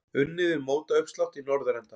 Unnið við mótauppslátt í norðurenda.